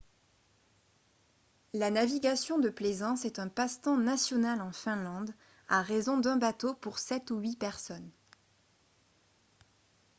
la navigation de plaisance est un passe-temps national en finlande à raison d'un bateau pour sept ou huit personnes